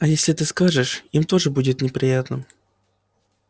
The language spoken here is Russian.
а если ты скажешь им тоже будет неприятно